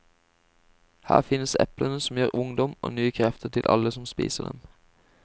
Her finnes eplene som gir ungdom og nye krefter til alle som spiser dem.